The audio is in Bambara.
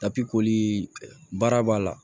baara b'a la